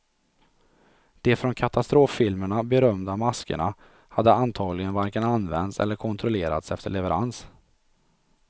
De från katastroffilmerna berömda maskerna hade antagligen varken använts eller kontrollerats efter leverans.